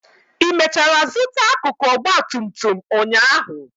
ị mechara zụta akụkụ ọgba tum tum ụnyaahụ?